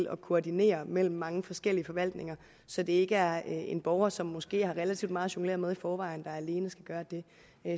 at koordinere mellem mange forskellige forvaltninger så det ikke er en borger som måske har relativt meget at jonglere med i forvejen der alene skal gøre det